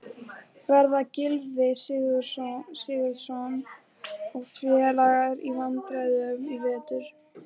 Verða Gylfi Sigurðsson og félagar í vandræðum í vetur?